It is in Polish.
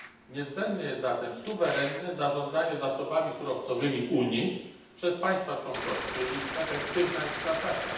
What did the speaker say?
Niezbędne jest zatem suwerenne zarządzanie zasobami surowcowymi Unii przez państwa członkowskie i ich efektywna eksploatacja.